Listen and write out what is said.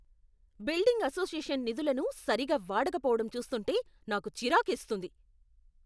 Building association నిధులను సరిగా వాడకపోవడం చూస్తుంటే నాకు చిరాకేస్తుంది.